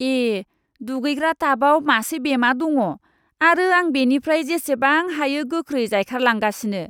ए, दुगैग्रा टाबआव मासे बेमा दङ आरो आं बेनिफ्राय जेसेबां हायो गोख्रै जायखारलांगासिनो!